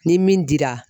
Ni min dira